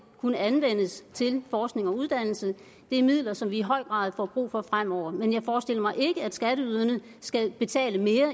kan anvendes til forskning og uddannelse det er midler som vi i høj grad får brug for fremover men jeg forestiller mig ikke at skatteyderne skal betale mere